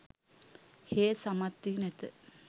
හේ සමත් වී නැත